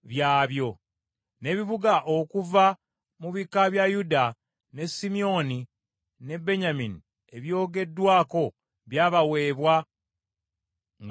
N’ebibuga okuva mu bika bya Yuda, ne Simyoni ne Benyamini ebyogeddwako byabaweebwa nga bakuba akalulu.